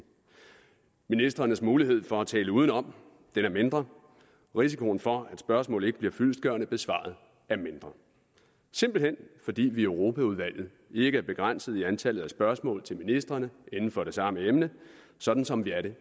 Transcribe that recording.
ministrenes mulighed for at tale udenom er mindre og risikoen for at spørgsmål ikke bliver fyldestgørende besvaret er mindre simpelt hen fordi vi i europaudvalget ikke er begrænset i antallet af spørgsmål til ministrene inden for det samme emne sådan som vi er det